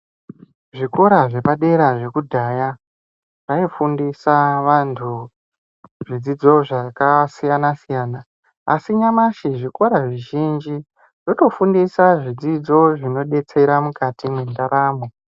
Zvikora zvepadera zvekudhaya zvaifundisa vantu zvidzidzo zvakasiyana-siyana. Asi nyamashi zvikora zvizhinji zvitofundisa zvidzidzo zvinobetsera mukati mwendaramo.